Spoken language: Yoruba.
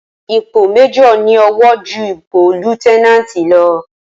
ípò Májòr ní ọ̀wọ̀ júù ípò líéutènàntì lọ